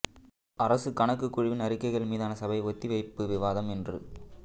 அரச கணக்குக் குழுவின் அறிக்கைகள் மீதான சபை ஒத்திவைப்புப் விவாதம் இன்று